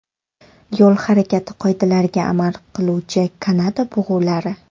Yo‘l harakati qoidalariga amal qiluvchi Kanada bug‘ulari.